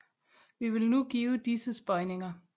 Vi vil nu give disses bøjninger